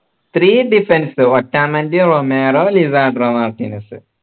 three defence Otamendi Romero Lisandro Martins